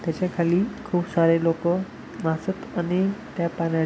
त्याच्याखाली खूप सारी लोक वाचत आणि त्या पाण्या--